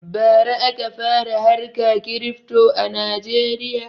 Bara aka fara harka kirifto a najeriya